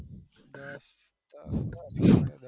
અહીંથી દસ કિલોમીટર